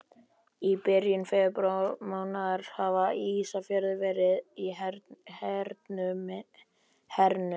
Í byrjun febrúarmánaðar hafði Ísafjörður verið hernuminn.